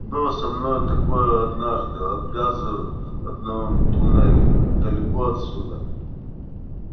было со мной такое однажды от газа в одном туннеле далеко отсюда